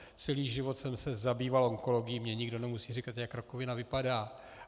Celý život jsem se zabýval onkologií, mně nikdo nemusí říkat, jak rakovina vypadá.